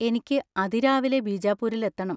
എനിക്ക് അതിരാവിലെ ബീജാപ്പൂരിൽ എത്തണം.